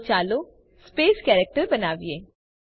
તો ચાલો space character બનાવીએ